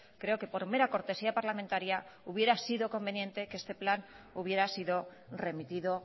creo que por mera cortesía parlamentaria hubiera sido conveniente que este plan hubiera sido remitido